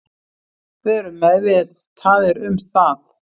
Við erum meðvitaðir um það